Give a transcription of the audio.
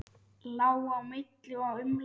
Lá á milli og umlaði.